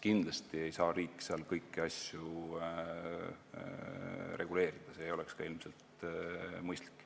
Kindlasti ei saa riik seal kõiki asju reguleerida, see ei oleks ilmselt ka mõistlik.